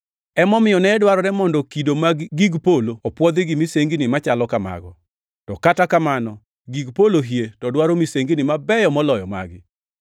Emomiyo ne dwarore mondo kido mag gig polo opwodhi gi misengini machalo kamago, to kata kamano gig polo hie to dwaro misengini mabeyo moloyo magi.